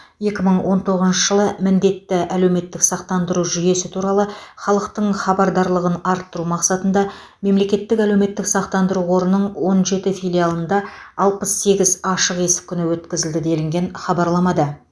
екі мың он тоғызыншы жылы міндетті әлеуметтік сақтандыру жүйесі туралы халықтың хабардарлығын арттыру мақсатында мемлекеттік әлеуметтік сақтандыру қорының он жеті филиалында алпыс сегіз ашық есік күні өткізілді делінген хабарламада